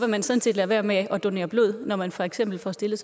man sådan set lade være med at donere blod når man for eksempel får stillet